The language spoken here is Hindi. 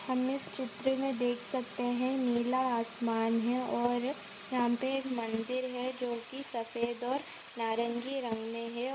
हम इस चित्र मे देख सकते है नीला आसमान है और यहाँ पे एक मंदिर है जो कि सफ़ेद और नारंगी रंग मे है और --